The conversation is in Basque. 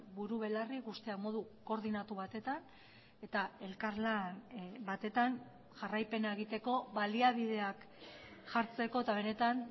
buru belarri ikustea modu koordinatu batetan eta elkarlan batetan jarraipena egiteko baliabideak jartzeko eta benetan